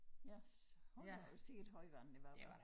Yes hold da op sikke et højvande det var hva